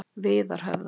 Viðarhöfða